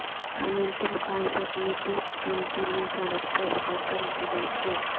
قانون کی مخالفت میں تیس تنظیمیں سڑک پر اتر کر احتجاج کیا